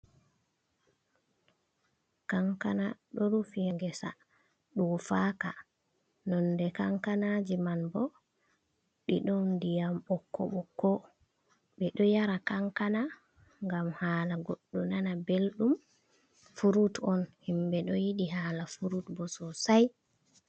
Kankana ɗo rufi haa gesa ɗofaka. Nonde kankanaji man bo ɗiɗom diyam bokko-bokko. Ɓe ɗo yara kankana ngam hala goɗɗo nana belɗum. Furut on himɓe ɗo yiɗi hala furut bo sosai.